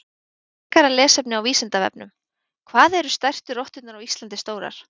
Frekara lesefni á Vísindavefnum: Hvað eru stærstu rotturnar á Íslandi stórar?